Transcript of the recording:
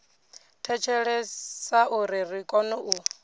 thetshelesa uri ri kone u